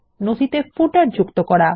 নথিতে পাদলেখ যুক্ত করা